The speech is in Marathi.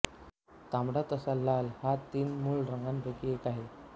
तांबडा तथा लाल हा तीन मूळ रंगांपैकी एक आहे